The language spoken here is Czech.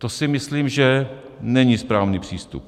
To si myslím, že není správný přístup.